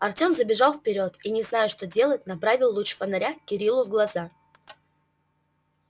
артем забежал вперёд и не зная что делать направил луч фонаря кириллу в глаза